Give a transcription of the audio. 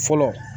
Fɔlɔ